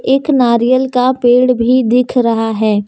एक नारियाल का पेड़ भी दिख रहा है।